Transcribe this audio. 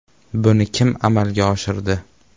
Buni kim amalga oshirdi?